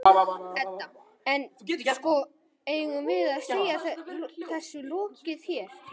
Edda: En, sko, eigum við að segja þessu lokið hérna?